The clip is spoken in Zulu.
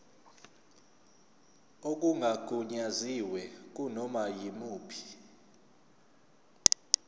okungagunyaziwe kunoma yimuphi